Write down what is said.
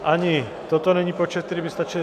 Ani toto není počet, který by stačil.